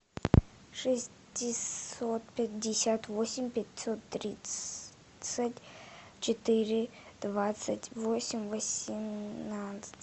шестьсот пятьдесят восемь пятьсот тридцать четыре двадцать восемь восемнадцать